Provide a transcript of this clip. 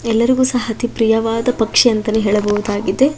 ಎಲ್ಲರಿಗೂ ಸಹ ಅತಿ ಪ್ರಿಯವಾದ ಪಕ್ಷಿ ಅಂತಾನೇ ಹೇಳಬಹುದಾಗಿದೆ.